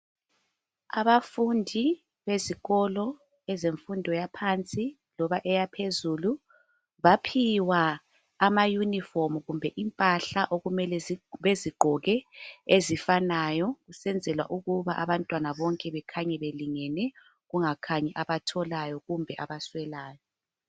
Abafundi bezikolo ezemfundo yaphansi loba eyaphezulu baphiwa amayunifomu kumbe impahla okumele bezigqoke ezifanayo kusenzelwa ukuthi abantwana bonke bekhaye belingene kungakhanyi abatholayo kumbe abaswelayo.